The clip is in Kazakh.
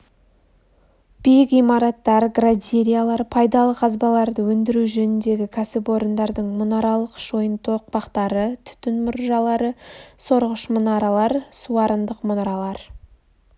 биік имараттар градириялар пайдалы қазбаларды өндіру жөніндегі кәсіпорындардың мұнаралық шойын тоқпақтары түтін мұржалары сорғыш мұнаралар суарындық мұнаралар